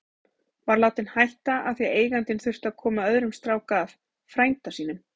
Var látinn hætta af því að eigandinn þurfti að koma öðrum strák að, frænda sínum.